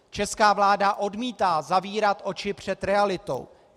Česká vláda odmítá zavírat oči před realitou.